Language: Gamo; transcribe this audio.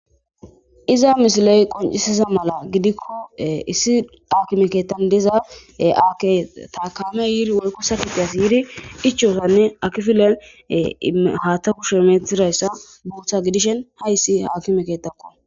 Iza misiley qoncisiza mala gidikko issi akimeketan deza ake taakame yiiri wolko sakiteyas yiidi ichosanne akifilen haatta kushemethirayssa buutha gidishen hayssi haakimekettakko.